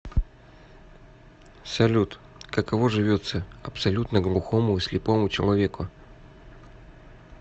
салют каково живется абсолютно глухому и слепому человеку